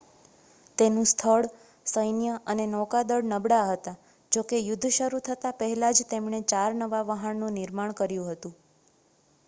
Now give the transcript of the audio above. તેનું સ્થળ સૈન્ય અને નૌકાદળ નબળાં હતાં જોકે યુદ્ધ શરૂ થતા પહેલાં જ તેમણે ચાર નવા વહાણનું નિર્માણ કર્યું હતું